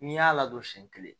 N'i y'a ladon siɲɛ kelen